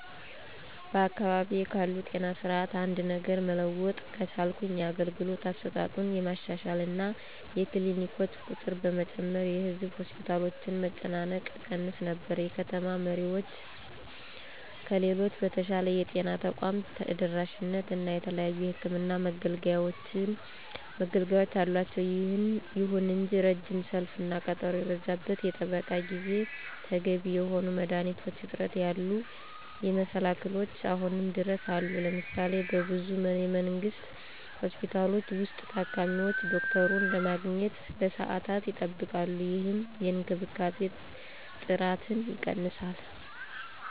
በአካባቢዬ ካለው ጤና ስርዓት አንድ ነገር መለወጥ ከቻልኩ የአገልግሎት አሰጣጡን በማሻሻል እና የክሊኒኮችን ቁጥር በመጨመር የህዝብ ሆስፒታሎችን መጨናነቅ እቀንስ ነበር። የከተማ ነዋሪዎች ከሌሎች በተሻለ የጤና ተቋም ተደራሽነት እና የተለያዩ የሕክምን መገልገያወች አላቸው። ይሁን እንጂ ረጅም ሰልፍ እና ቀጠሮ የበዛበት የጥበቃ ጊዜ፣ ተገቢ የሆኑ የመድኃኒት እጥረት ያሉ መሰላክሎች አሁንም ድረስ አሉ። ለምሳሌ:- በብዙ የመንግስት ሆስፒታሎች ውስጥ, ታካሚዎች ዶክተሩን ለማግኘት ለሰዓታት ይጠብቃሉ, ይህም የእንክብካቤ ጥራትን ይቀንሳል።